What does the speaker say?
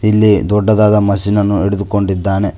ಇಲ್ಲಿ ದೊಡ್ಡದಾದ ಮಷೀನ್ ಅನ್ನು ಹಿಡಿದುಕೊಂಡಿದ್ದಾನೆ.